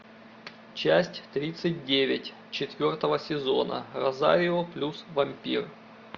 часть тридцать девять четвертого сезона розарио плюс вампир